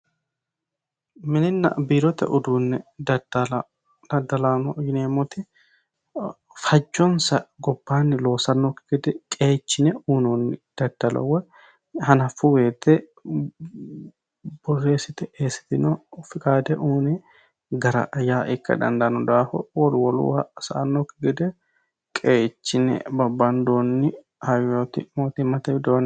Mininna biirote uduune daddallano yineemmoti halchonsa gobbanni loossanokki gede qeechine daddalo woyi hanafu woyte borreessite eessitino fiqade gara yaa ikka dandaano daafira wolu woluha sa'anokki gede qeechine babbandonni hayyoti mootimmate widooni.